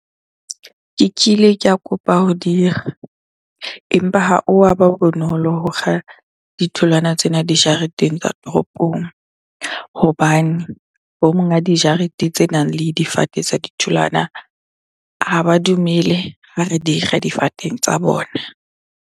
Ke kile ka kopa ho dikga empa ha o wa ba bonolo ho kga ditholwana tsena dijareteng tsa toropong. Hobane bo monga dijarete tsenang le difate tsa ditholwana, ha ba dumele ha re di kga difateng tsa bona.